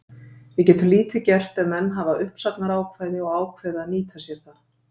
Við getum lítið gert ef menn hafa uppsagnarákvæði og ákveða að nýta sér það.